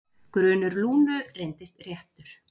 Grunur Lúnu reyndist réttur.